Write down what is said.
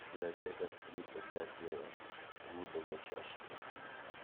библиотекарь три проклятие иудовой чаши найди